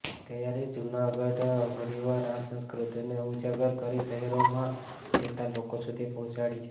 ત્યારે જૂનાગઢમાં ફરીવાર આ સંસ્કૃતિને ઉજાગર કરી શહેરોમાં રહેતા લોકો સુધી પહોંચાડી છે